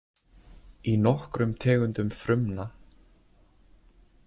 Í nokkrum tegundum frumna.